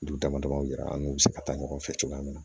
Dugu dama dama yira an n'u bɛ se ka taa ɲɔgɔn fɛ cogoya min na